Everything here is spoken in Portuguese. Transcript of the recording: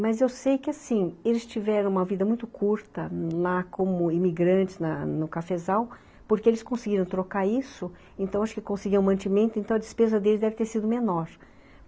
Mas eu sei que assim, eles tiveram uma vida muito curta lá como imigrantes na no cafezal, porque eles conseguiram trocar isso, então acho que conseguiam o mantimento, então a despesa deles deve ter sido menor.